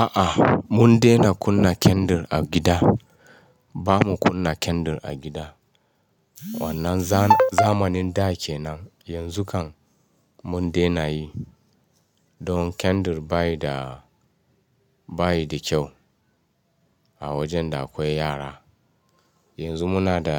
A'a, mun dena kunna kandil a gida. Ba mu kunna kandil a gida. Wannan zamanin da kenan, yanzu kam mun dena yi. Don kandil bayi da, bayi da kyau a wajen da akwai yara. Yanzu muna da